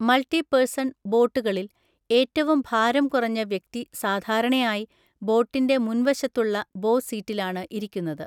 Multi person ബോട്ടുകളിൽ, ഏറ്റവും ഭാരം കുറഞ്ഞ വ്യക്തി സാധാരണയായി ബോട്ടിൻ്റെ മുൻവശത്തുള്ള ബോ സീറ്റിലാണ് ഇരിക്കുന്നത്.